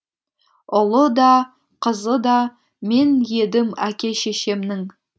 ұлы да қызы да мен едім әке шешемнің